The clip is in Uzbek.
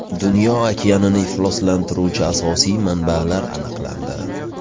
Dunyo okeanini ifloslantiruvchi asosiy manbalar aniqlandi.